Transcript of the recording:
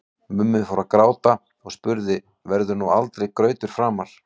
Mummi fór að gráta og spurði: Verður nú aldrei grautur framar?